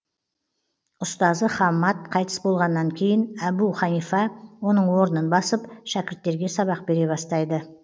ұстазы хаммад қайтыс болғаннан кейін әбу ханифа оның орнын басып шәкірттерге сабақ бере бастайды